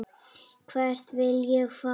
Hvert vil ég fara?